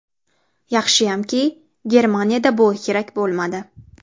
Yaxshiyamki, Germaniyada bu kerak bo‘lmadi.